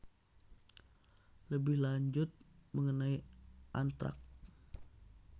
Lebih lanjut mengenai Antrax